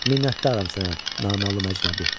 Minətdaram sənə, naməlum əcnəbi.